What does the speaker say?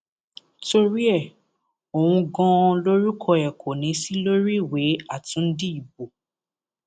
torí ẹ òun ganan lorúkọ ẹ kò ní í sí lórí ìwé àtúndì ìbò